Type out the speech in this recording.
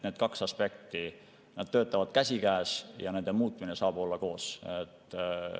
Need kaks aspekti käsikäes ja nende muutmine saab olla koos.